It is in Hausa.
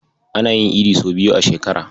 Ana yin Idi sau biyu a shekara.